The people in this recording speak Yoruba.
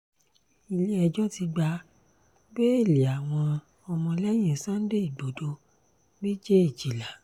ilé-ẹjọ́ ti gba bẹ́ẹ̀lì àwọn ọmọlẹ́yìn sunday igbodò méjèèjìlá